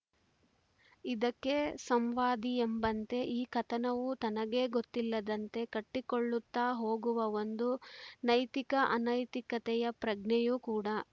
ಇದಕ್ಕೆ ಸಂವಾದಿಯೆಂಬಂತೆ ಈ ಕಥನವು ತನಗೇ ಗೊತ್ತಿಲ್ಲದಂತೆ ಕಟ್ಟಿಕೊಳ್ಳುತ್ತ ಹೋಗುವ ಒಂದು ನೈತಿಕಅನೈತಿಕತೆಯ ಪ್ರಜ್ಞೆಯೂ ಕೂಡ